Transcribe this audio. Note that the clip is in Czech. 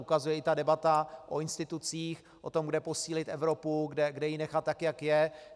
Ukazuje to i debata o institucích, o tom, kde posílit Evropu, kde ji nechat tak, jak je.